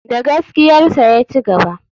Da gaskiyarsa ya cigaba.